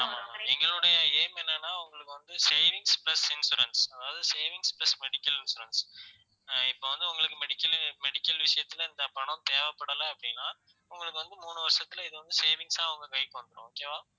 ஆமா ஆமா எங்களுடைய aim என்னன்னா உங்களுக்கு வந்து savings plus insurance அதாவது savings plus medical insurance அ இப்ப வந்து உங்களுக்கு medical லு medical விஷயத்துல இந்தப் பணம் தேவைப்படல அப்படின்னா உங்களுக்கு வந்து மூணு வருஷத்துல இது வந்து savings ஆ உங்க கைக்கு வந்துரும் okay வா